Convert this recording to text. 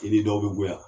I ni dɔw bɛ goya